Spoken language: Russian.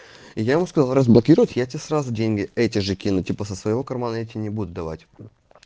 и я ему сказал разблокировать я тебе сразу деньги эти же кину типа со своего кармана я тебе не буду давать